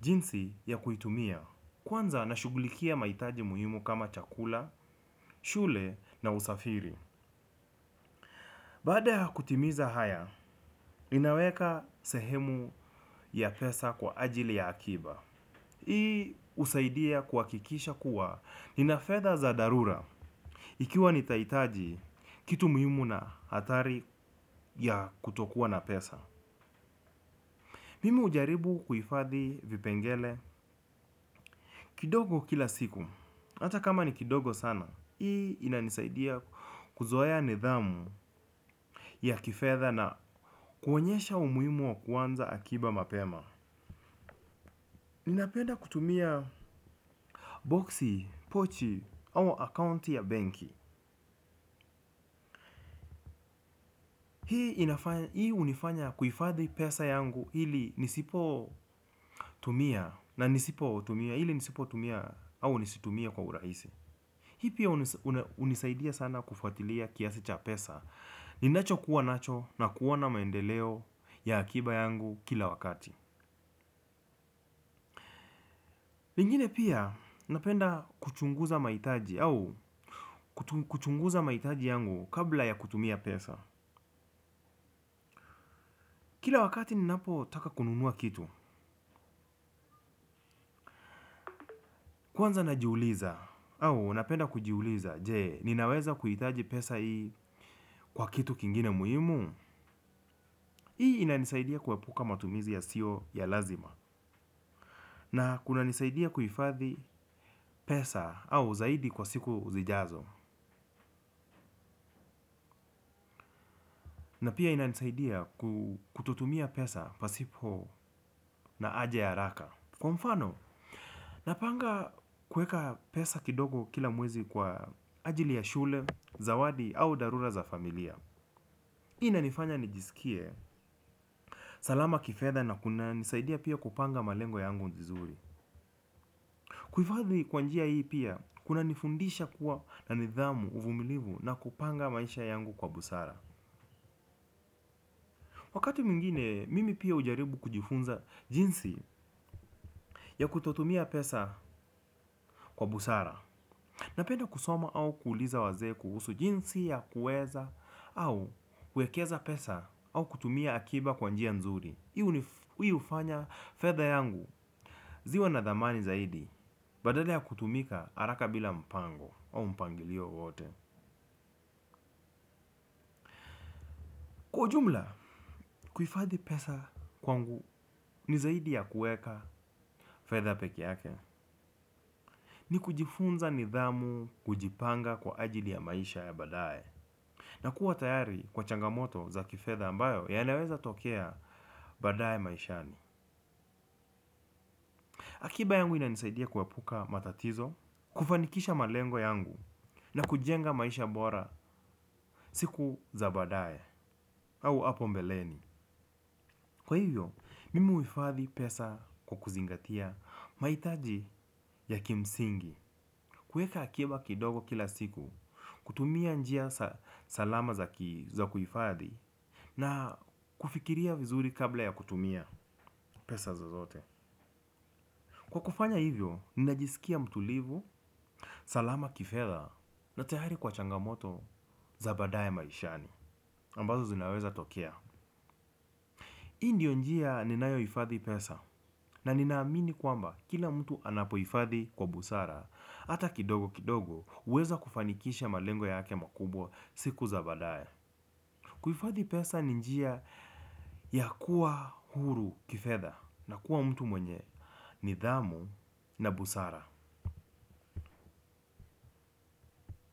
jinsi ya kuitumia. Kwanza nashughulikia mahitaji muhimu kama chakula, shule na usafiri. Baada ya kutimiza haya, ninaweka sehemu ya pesa kwa ajili ya akiba. Hii husaidia kuhakikisha kuwa nina fedha za dharura ikiwa nitahitaji kitu muhimu na athari ya kutokuwa na pesa. Mimi hujaribu kuhifadhi vipengele kidogo kila siku. Hata kama ni kidogo sana hii inanisaidia kuzoea nidhamu ya kifedha na kuonyesha umuhimu wa kuanza akiba mapema. Ninapenda kutumia boxi, pochi, au akounti ya benki. Hii hunifanya kuhifadhi pesa yangu ili nisipo tumia na nisipo tumia hili nisipo tumia au nisitumie kwa urahisi. Hii pia hunisaidia sana kufuatilia kiasi cha pesa. Ni nacho kuwa nacho na kuona maendeleo ya akiba yangu kila wakati pengine pia napenda kuchunguza mahitaji au kuchunguza mahitaji yangu kabla ya kutumia pesa. Kila wakati ni napo taka kununua kitu. Kwanza najiuliza au napenda kujiuliza. Jee, ninaweza kuhitaji pesa hii kwa kitu kingine muhimu. Hii inanisaidia kuepuka matumizi ya sio ya lazima. Na kunanisaidia kuhifadhi pesa au zaidi kwa siku zijazo. Na pia ina nisaidia kutotumia pesa pasipo na aja ya haraka. Kwa mfano, napanga kuweka pesa kidogo kila mwezi kwa ajili ya shule, zawadi au dharura za familia. Hii inanifanya nijisikie salama kifedha na kuna nisaidia pia kupanga malengo yangu vizuri. Kuhifadhi kwa njia hii pia, kuna nifundisha kuwa na nidhamu uvumilivu na kupanga maisha yangu kwa busara. Wakati mwingine, mimi pia hujaribu kujifunza jinsi ya kutotumia pesa kwa busara. Napenda kusoma au kuuliza wazee kuhusu jinsi ya kuweza au kuekeza pesa au kutumia akiba kwa njia nzuri. Hii hufanya fedha yangu ziwe na dhamani zaidi. Badala ya kutumika, haraka bila mpango au mpangilio wote. Kwa ujumla, kuhifadhi pesa kwangu ni zaidi ya kuweka fedha peke yake. Ni kujifunza nidhamu kujipanga kwa ajili ya maisha ya badae. Na kuwa tayari kwa changamoto za kifedha ambayo ya naweza tokea baadaye maishani. Akiba yangu ina nisaidia kuepuka matatizo, kufanikisha malengo yangu na kujenga maisha bora siku za badae au hapo mbeleni. Kwa hivyo, mimi uhifadhi pesa kwa kuzingatia mahitaji ya kimsingi. Kuweka akiba kidogo kila siku, kutumia njia salama za kuhifadhi na kufikiria vizuri kabla ya kutumia pesa za zote. Kwa kufanya hivyo, ninajisikia mtulivu, salama kifedha na tayari kwa changamoto za badaye maishani ambazo zinaweza tokea. Hii ndio njia ninayo hifadhi pesa na ninaamini kwamba kila mtu anapo hifadhi kwa busara. Hata kidogo kidogo huweza kufanikisha malengo yake makubwa siku za badaye. Kuhifadhi pesa ni njia ya kuwa huru kifedha na kuwa mtu mwenye nidhamu na busara.